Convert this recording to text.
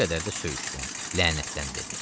Bir qədər də söyüşdən, lənətdən dedi.